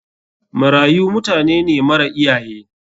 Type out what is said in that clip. Marayu mutanene mara iyaye.